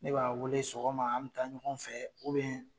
Ne b'a wele sɔgɔma an mi taa ɲɔgɔn fɛ